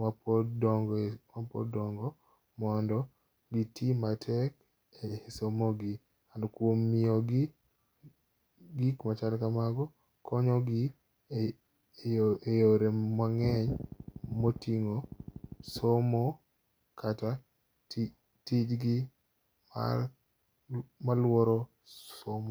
mapod dongo e, mapod dongo mondo giti matek e somogi. And kuom nyiewogi gik machal kamago konyogi e yore mang'eny moting'o somo kata tijgi mar maluoro somo.